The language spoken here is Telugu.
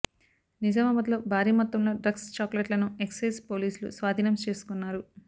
నిజామాబాద్ లో భారీ మొత్తంలో డ్రగ్స్ చాక్లెట్లను ఎక్సైజ్ పోలీసులు స్వాధీనం చేసుకున్నారు